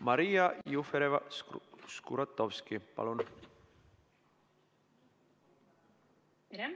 Maria Jufereva-Skuratovski, palun!